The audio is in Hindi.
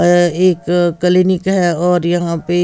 अ एक कलीनिक हैं और यहाँ पे--